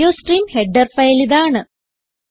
iostream header ഫയലിതാണ്